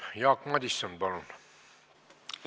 Jaak Madison, palun!